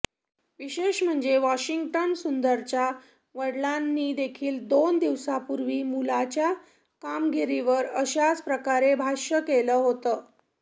विशेष म्हणजे वॉशिंग्टन सुंदरच्या वडिलांनीदेखील दोन दिवसांपूर्वी मुलाच्या कामगिरीवर अशाच प्रकारे भाष्य केलं होतं